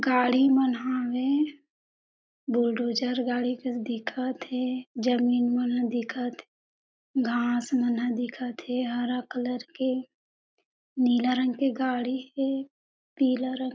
गाड़ी मन हावे बुलडोज़र गाड़ी कस दिखत हे जमीन मन ह दिखत हे घास मन ह दिखत हे हरा कलर के नीला रंग के गाड़ी हे पीला रंग--